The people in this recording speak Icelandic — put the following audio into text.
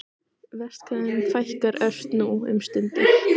Verst hvað þeim fækkar ört nú um stundir.